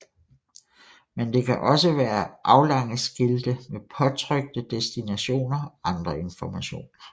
Men det kan også være aflange skilte med påtrykte destinationer og andre informationer